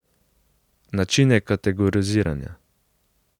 Načine kategoriziranja.